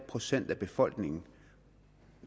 procent af befolkningen